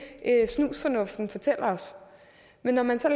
snusfornuften fortalte os men når man så